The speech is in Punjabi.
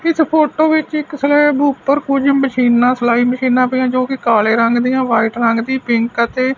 ਇੱਸ ਫ਼ੋਟੋ ਵਿੱਚ ਇੱਕ ਸਲੈਬ ਉਪਰ ਕੁਛ ਮਸ਼ੀਨਾਂ ਸਿਲਾਈ ਮਸ਼ੀਨਾਂ ਪਈਆਂ ਜੋਕੀ ਕਾਲੇ ਰੰਗ ਦਿਆਂ ਵ੍ਹਾਈਟ ਰੰਗ ਦਿਆਂ ਪਿੰਕ ਅਤੇ--